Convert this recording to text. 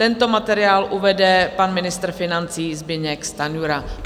Tento materiál uvede pan ministr financí Zbyněk Stanjura.